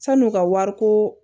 San'u ka wari ko